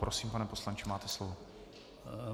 Prosím, pane poslanče, máte slovo.